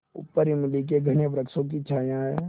ऊपर इमली के घने वृक्षों की छाया है